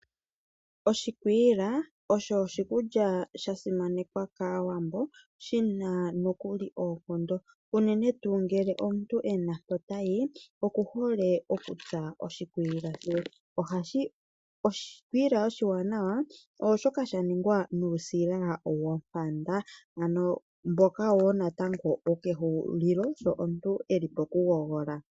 Oshikwiila osho oshikulya sha simanekwa kAawambo, shina nokuli oonkondo, unene tu ngele omuntu ena mpo tayi oku hole oku tsa oshikwiila she. Oshikwiila oshiwanawa ooshoka sha ningwa nuusila wompanda, ano mboka wo natango wokehulilo sho omuntu eli poku gogola.